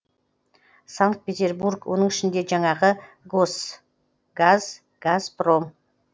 санкт петербург оның ішінде жаңағы росгаз газпром